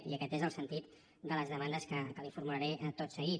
i aquest és el sentit de les demandes que li formularé tot seguit